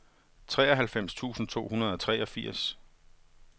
treoghalvfems tusind to hundrede og treogfirs